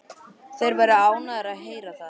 Þeir verða ánægðir að heyra það.